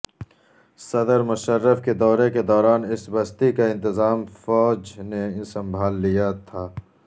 صدر مشرف کے دورے کے دوران اس بستی کا انتظام فوج نے سنبھال لیا تھا